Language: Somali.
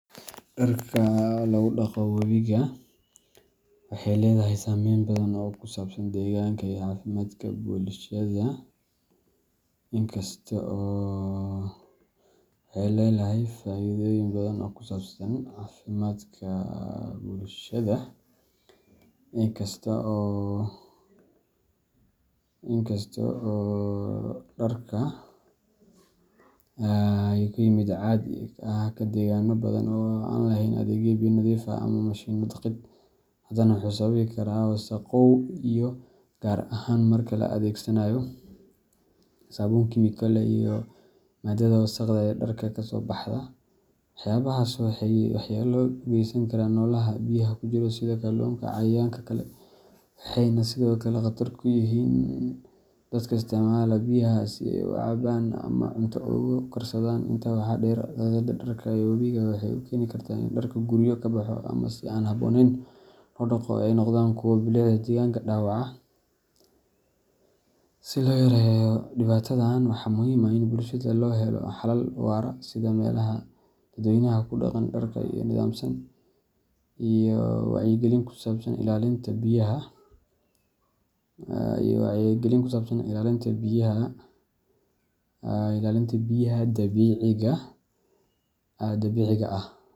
Dharka oo lagu dhaqo wabiga waxay leedahay saamayn badan oo ku saabsan deegaanka iyo caafimaadka bulshada. In kasta oo dhaqankan uu yahay mid caadi ka ah deegaanno badan oo aan lahayn adeegyo biyo nadiif ah ama mashiinno dhaqid, hadana wuxuu sababi karaa wasakhow biyo, gaar ahaan marka la adeegsado saabuun kiimiko leh iyo maadada wasakhda ah ee dharka kasoo baxda. Waxyaabahaas waxay waxyeello u geysan karaan noolaha biyaha ku jira, sida kalluunka iyo cayayaanka kale, waxayna sidoo kale khatar ku yihiin dadka isticmaala isla biyahaas si ay u cabaan ama cunto ugu karsadaan. Intaa waxaa dheer, dhaqidda dharka ee wabiga waxay keeni kartaa in dhar guryo ka baxa ama si aan habboonayn loo dhaqo ay noqdaan kuwo bilicda deegaanka dhaawaca. Si loo yareeyo dhibaatadan, waxaa muhiim ah in bulshada loo helo xalal waara sida meelaha dadweynuhu ku dhaqaan dharka oo nidaamsan, iyo wacyigelin ku saabsan ilaalinta biyaha dabiiciga ah.